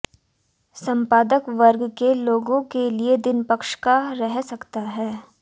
संपादक वर्ग के लोगों के लिए दिन पक्ष का रह सकता है